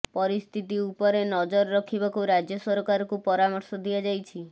ପରିସ୍ଥିତି ଉପରେ ନଜର ରଖିବାକୁ ରାଜ୍ୟ ସରକାରକୁ ପରାମର୍ଶ ଦିଆଯାଇଛି